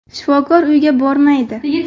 Shifokor uyga bormaydi.